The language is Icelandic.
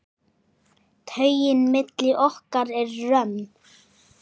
Taugin milli okkar er römm.